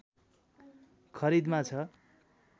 खरिदमा छ